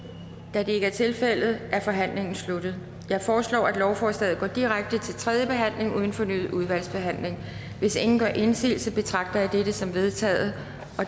da det ikke er tilfældet er forhandlingen sluttet jeg foreslår at lovforslaget går direkte til tredje behandling uden fornyet udvalgsbehandling hvis ingen gør indsigelse betragter jeg dette som vedtaget